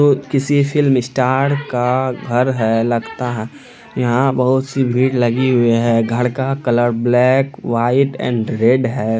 किसी film star का घर है लगता है| यहाँ बहुत सी भीड़ लगी हुई है| घर का colour black white and red है|